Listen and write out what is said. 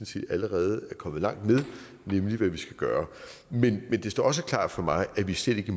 set allerede er kommet langt med nemlig hvad vi skal gøre men det står også klart for mig at vi slet ikke